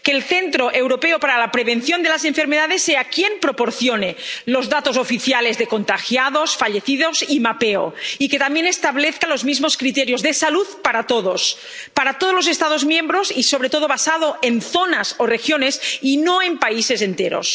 que el Centro Europeo para la Prevención y el Control de las Enfermedades sea quien proporcione los datos oficiales de contagiados, fallecidos y mapeo, y que también establezca los mismos criterios de salud para todos los Estados miembros, sobre todo basándose en zonas o regiones y no en países enteros.